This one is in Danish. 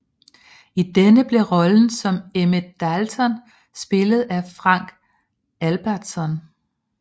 I denne blev rollen som Emmett Dalton spillet af Frank Albertson